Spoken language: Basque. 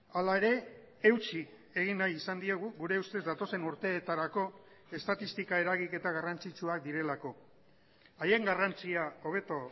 hala ere eutsi egin nahi izan diegu gure ustez datozen urteetarako estatistika eragiketa garrantzitsuak direlako haien garrantzia hobeto